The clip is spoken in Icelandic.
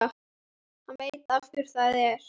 Hann veit af hverju það er.